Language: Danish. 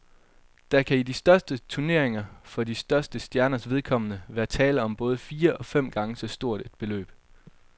Der kan i de største turneringer for de største stjerners vedkommende være tale om både fire og fem gange så stort et beløb.